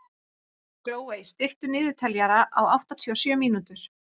Glóey, stilltu niðurteljara á áttatíu og sjö mínútur.